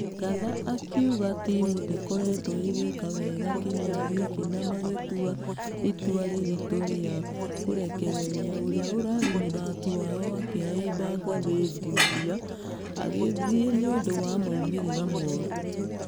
Ngatha akĩuga timũ ndĩkoretwo ĩgĩeka wega kĩmera gĩkĩ na magĩtua ĩtua rĩritũ rĩa kũrekereria ũria ũrarĩ mũthaki wao akĩhaimba ngathi ndiumia. Athie nĩũndũ wa maumerĩra mũru.